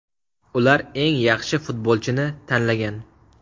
Ular eng yaxshi futbolchini tanlagan.